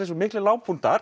svo miklir